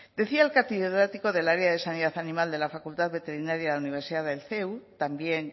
decía el catedrático del área de sanidad animal de la facultad de veterinaria de la universidad del ceu también